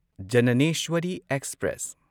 Jnaneswari express